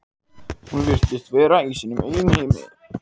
Já, þau eru alveg ofsaleg, sagði Kobbi hróðugur.